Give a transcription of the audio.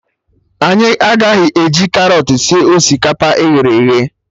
Anyị agaghị eji karọt sie osikapa e ghere eghe